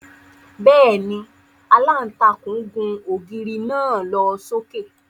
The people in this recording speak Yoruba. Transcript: Bẹ́ẹ̀ni, Àlàntakùn gùn ógiri naa lo soke.